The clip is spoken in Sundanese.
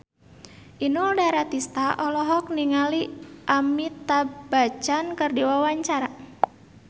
Inul Daratista olohok ningali Amitabh Bachchan keur diwawancara